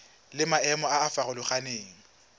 le maemo a a farologaneng